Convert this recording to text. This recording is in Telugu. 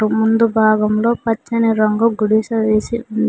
ముందు భాగంలో పచ్చని రంగు గుడిసె వేసి ఉంది.